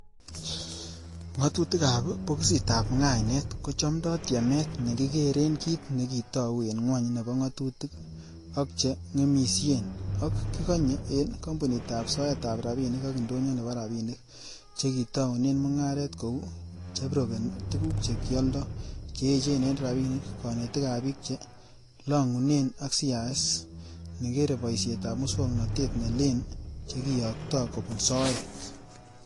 Ngatutikab bokisitab ngainet, kochomdoo tiemet nekikere kit nekitou, en gwony nebo ngatutik, ok che ngemisien, ok kikonye en kompunitab soetab rabinik ak indonyo nebo rabinik chekitounen mungaret kou, chebrokeni tuguk che kialdo, che echen en rabinik, konetik ab bik che longunge ak CIS nekere boisietab muswognotet ne lee chekiyokto kobun soet.